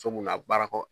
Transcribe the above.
So mun na baara kɔ